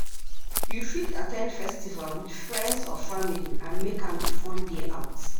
You fit at ten d festival with friends or family and make am a fun day out.